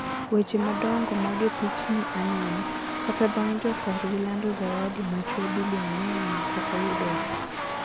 weche madongo mage pichni aneno, kata bang jokorgi lando zawadi machwe bilionea no pokoyudre.